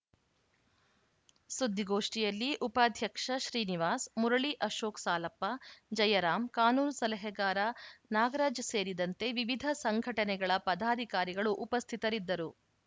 ಸುದ್ಧಿಗೋಷ್ಠಿಯಲ್ಲಿ ಉಪಾಧ್ಯಕ್ಷ ಶ್ರೀನಿವಾಸ್‌ ಮುರಳಿ ಅಶೋಕ್‌ ಸಾಲಪ್ಪ ಜಯರಾಮ್‌ ಕಾನೂನು ಸಲಹೆಗಾರ ನಾಗರಾಜ್‌ ಸೇರಿದಂತೆ ವಿವಿಧ ಸಂಘಟನೆಗಳ ಪದಾಧಿಕಾರಿಗಳು ಉಪಸ್ಥಿತರಿದ್ದರು